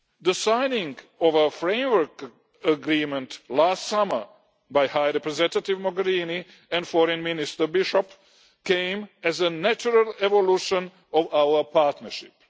The signing of our Framework Agreement last summer by High Representative Mogherini and Foreign Minister Bishop came as a natural evolution of our partnership.